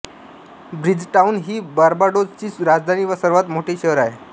Bridgetown ही Barbados ची राजधानी व सर्वात मोठे शहर आहे